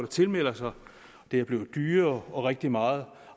tilmelder sig og det er blevet dyrere rigtig meget